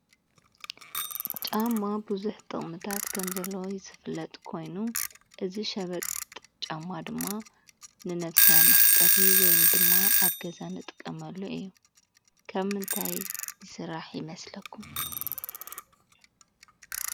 ጫማ ብዙሕ ጥቕምታት ከም ዘለዎ ዝፍለጥ ኾይኑ እዚ ሸበጥ ጫማ ድማ ንነብሲ መሕፀቢ ወይም ድማ ኣብ ገዛ እንጥቀመሉ እዩ፡፡ ካብ ምንታይ ይስራሕ ይመስለኩም?